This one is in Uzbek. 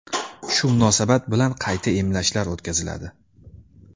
Shu munosabat bilan qayta emlashlar o‘tkaziladi.